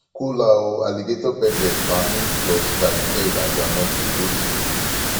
kola o alligator pepper pammy plus garden egg and groudnut go dey table